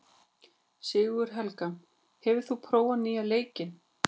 Sigurhelga, hefur þú prófað nýja leikinn?